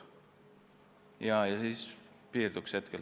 Sellega praegu piirduks.